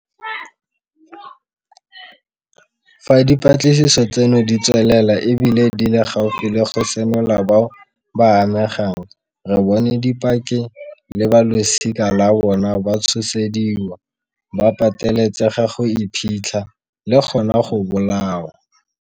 Fa dipatlisiso tseno di tswelela e bile di le gaufi le go senola bao ba amegang, re bone dipaki le balosika la bona ba tshosediwa, ba pateletsega go iphitlha, le gona go bolawa.